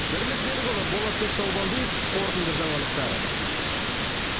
бірлік берікұлы болатбек таубалдиев қорытынды жаңалықтар